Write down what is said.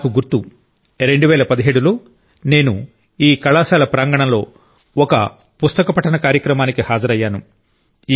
నాకు గుర్తు 2017 లో నేను ఈ కళాశాల ప్రాంగణంలో ఒక పుస్తక పఠన కార్యక్రమానికి హాజరయ్యాను